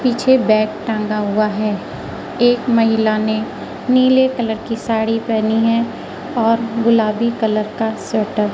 पीछे बैग टंगा हुआ है एक महिला ने नीले कलर की साड़ी पेहनी है और गुलाबी कलर का स्वेटर ।